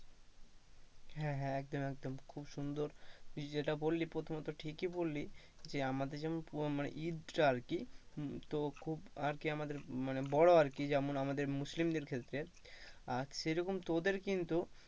হ্যাঁ হ্যাঁ একদম একদম খুব সুন্দর তুই যেটা বললি প্রথমত ঠিকই বললি যে আমাদের যেমন ঈদ তা আর কি বড় আরকি তো যেমন আমাদের মুসলিমদের ক্ষেত্রে সেই রকম তোদের কিন্তু।